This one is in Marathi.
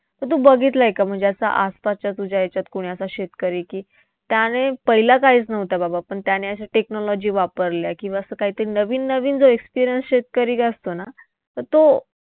तर तू बघितलंय का म्हणजे असं आसपासच्या तुझ्या याच्यात कोणी असा शेतकरी की त्याने पहिला काहीच नव्हतं बाबा, पण त्याने अशा technology वापरल्या किंवा असं कायतरी नवीन नवीन जो शेतकरी असतो ना तर तो